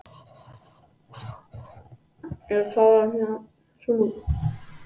Vonandi stendur þetta ekki mjög lengi sagði afi.